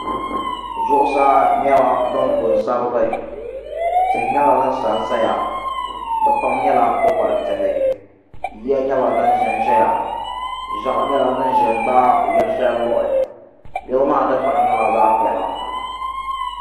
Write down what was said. Zuɣusaa nyɛla din ku n sabigi tihi nyɛla din sansaya di pam nyɛla kpukpali tihi yiya nyɛla din ʒɛnʒɛya ʒiɛɣu nyɛla din ʒɛ n daai yili shɛli luhi yili maa dikpuna nyɛla zaɣ piɛla